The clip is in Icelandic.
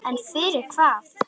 En fyrir hvað?